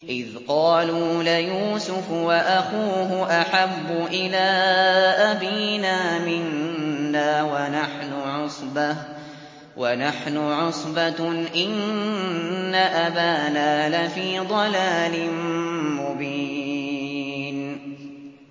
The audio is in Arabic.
إِذْ قَالُوا لَيُوسُفُ وَأَخُوهُ أَحَبُّ إِلَىٰ أَبِينَا مِنَّا وَنَحْنُ عُصْبَةٌ إِنَّ أَبَانَا لَفِي ضَلَالٍ مُّبِينٍ